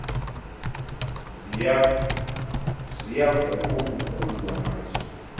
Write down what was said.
ziyaguqu guqulwa nazo